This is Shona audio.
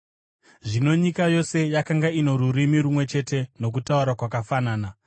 Zvino nyika yose yakanga ino rurimi rumwe chete nokutaura kwakafanana.